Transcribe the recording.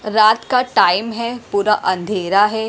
रात का टाइम है पूरा अंधेरा है।